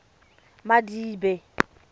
madibe